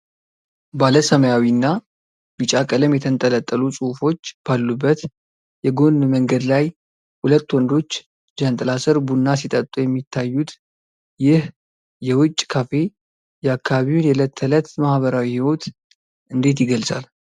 ባለ ሰማያዊና ቢጫ ቀለም የተንጠለጠሉ ጽሑፎች ባሉበት የጎን መንገድ ላይ፣ ሁለት ወንዶች ጃንጥላ ስር ቡና ሲጠጡ የሚታዩት፣ ይህ የውጭ ካፌ የአካባቢውን የዕለት ተዕለት ማኅበራዊ ሕይወት እንዴት ይገልጻል?